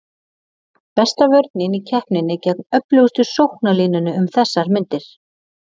Besta vörnin í keppninni gegn öflugust sóknarlínunni um þessar mundir.